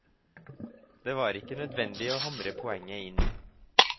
Det var ikke nødvendig å hamre poenget inn.